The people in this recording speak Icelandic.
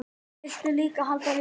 Vildu líka halda jól.